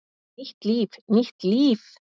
Nýtt líf, nýtt líf!